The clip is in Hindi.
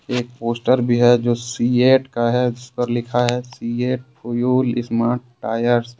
एक पोस्टर भी है सिएट का है जिस पर लिखा है सिएट फ्यूल्स स्मार्ट टायर्स ।